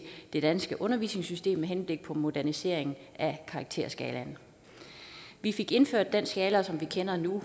det danske uddannelsessystem med henblik på en modernisering af karakterskalaen vi fik indført den skala som vi kender nu